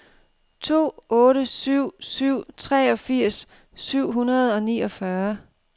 to otte syv syv treogfirs syv hundrede og niogfyrre